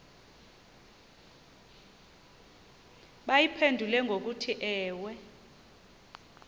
bayiphendule ngokuthi ewe